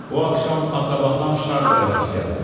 Bu axşam atabaxan Şarloya rast gəldim.